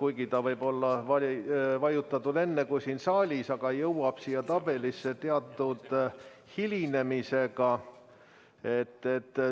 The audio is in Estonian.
kuigi nuppu võib olla vajutatud enne kui siin saalis, jõuab siia tabelisse hilinemisega.